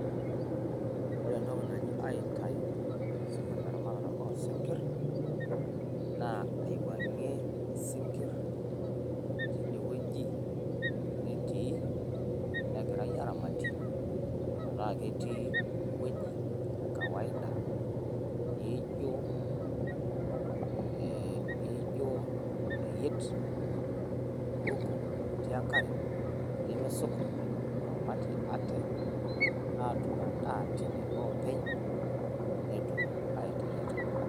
wore entoki naji aitayu teramatare osinkirr aiwuangie isinkirr tinewueji netii negirai aramatie metaa ketii ewueji kawaida neijio oreyiet oruko otii enkare lemeisukut oramatie ate atuum endaa tine openy netum aiendelea tene